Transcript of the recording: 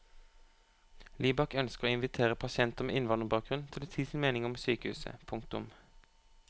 Libak ønsker å invitere pasienter med innvandrerbakgrunn til å si sin mening om sykehuset. punktum